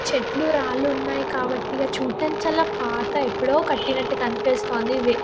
చెట్లు రాళ్లు ఉన్నాయి కాబట్టి ఇక్కడ చూడడానికి చాలా పాత ఎప్పుడో కట్టినట్టుగా కని పిస్తుంది ఇవి.